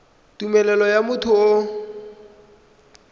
tumelelo ya motho yo o